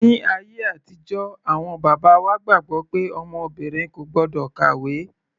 Ní ayé àtijọ́ awọn bàbá wa gbàgbọ́ pé ọmọ obìnrin kò gbọ́dọ̀ kàwé.